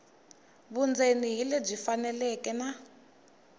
vundzeni hi lebyi faneleke na